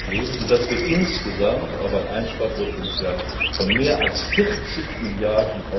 Euro ergeben, so dass wir insgesamt auf ein Einsparpotenzial von mehr als 40 Mrd.